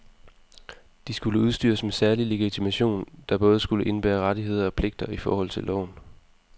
De skulle udstyres med særlig legitimation, der både skulle indebære rettigheder og pligter i forhold til loven.